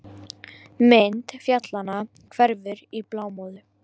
Mynd fjallanna hverfur í blámóðu.